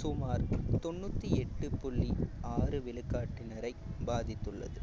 சுமார் தொண்ணூத்தி எட்டு புள்ளி ஆறு விழுக்காட்டினரை பாதித்துள்ளது